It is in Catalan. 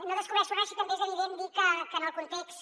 no descobreixo res si també és evident dir que en el context